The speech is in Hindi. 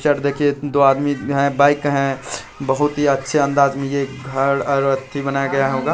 पिक्चर देखिए दो आदमी है बाइक है बहुत ही अच्छे अंदाज में ये घर ही बनाया गया होगा।